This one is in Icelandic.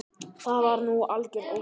Það var nú algjör óþarfi.